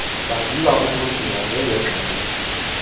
baviwa ubunzima njengenxgenye